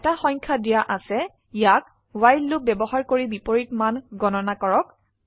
এটা সংখয়া দিয়া আছে ইয়াক ৱ্হাইল লুপ ব্যবহাৰ কৰিবিপৰীত মান গণনা কৰক